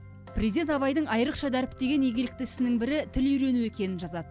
президент абайдың айрықша дәріптеген игілікті ісінің бірі тіл үйрену екенін жазады